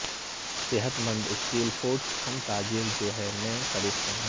صحت مند اسٹیل فوڈس ہم تاجر جو ہے میں خریدتے ہیں